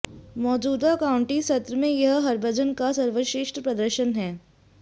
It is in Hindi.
मौजूदा काउंटी सत्र में यह हरभजन का सर्वश्रेष्ठ प्रदर्शन है